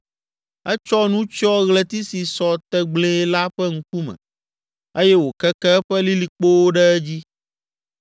Etsɔ nu tsyɔ ɣleti si sɔ tegblẽe la ƒe ŋkume eye wòkeke eƒe lilikpowo ɖe edzi.